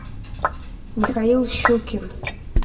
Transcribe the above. михаил щукин